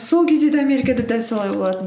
сол кезде де америкада дәл солай болатын